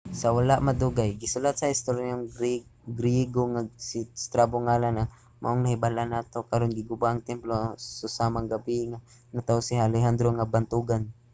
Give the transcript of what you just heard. sa wala madugay gisulat sa historyanong griego nga si strabo ang ngalan nga mao ang nahibal-an nato karon. giguba ang templo sa susamang gabii nga natawo si alejandro nga bantogan